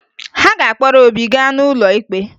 Ha ga-akpọrọ Obi gaa n'ụlọ ikpe